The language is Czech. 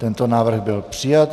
Tento návrh byl přijat.